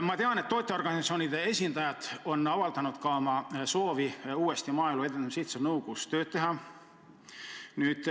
Ma tean, et tootjaorganisatsioonide esindajad on avaldanud soovi uuesti Maaelu Edendamise Sihtasutuse nõukogus tööd teha.